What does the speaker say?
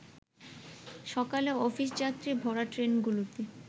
সকালে অফিসযাত্রী ভরা ট্রেনগুলোতে